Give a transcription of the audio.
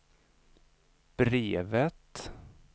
brevet